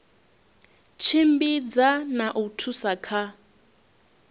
tshimbidza na u thusa kha